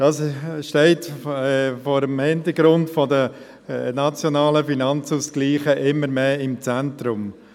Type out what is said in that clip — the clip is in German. Dies steht vor dem Hintergrund des NFA immer mehr im Zentrum.